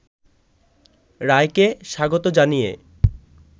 রায়কে স্বাগত জানিয়ে